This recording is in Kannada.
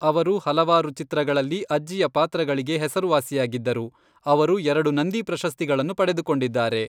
ಅವರು ಹಲವಾರು ಚಿತ್ರಗಳಲ್ಲಿ ಅಜ್ಜಿಯ ಪಾತ್ರಗಳಿಗೆ ಹೆಸರುವಾಸಿಯಾಗಿದ್ದರು. ಅವರು ಎರಡು ನಂದಿ ಪ್ರಶಸ್ತಿಗಳನ್ನು ಪಡೆದುಕೊಂಡಿದ್ದಾರೆ.